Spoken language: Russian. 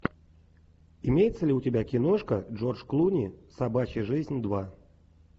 имеется ли у тебя киношка джордж клуни собачья жизнь два